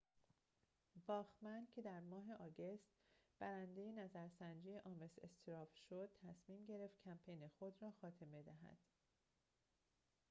باخمن که در ماه آگوست برنده نظرسنجی آمس استراو شد تصمیم گرفت کمپین خود را خاتمه دهد